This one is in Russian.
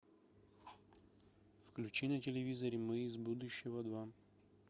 включи на телевизоре мы из будущего два